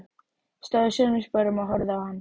Ég stóð í sömu sporum og horfði á hann.